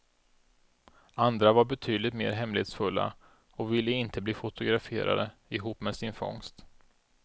Andra var betydligt mer hemlighetsfulla, och ville inte bli fotograferade ihop med sin fångst.